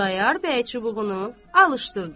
Xudayar bəy çubuğunu alışdırdı.